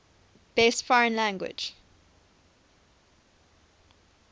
best foreign language